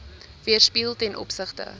weerspieël ten opsigte